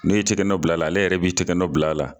Ne'i tɛgɛ nɔ bila la, ale yɛrɛ b'i tigɛ nɔ bila la.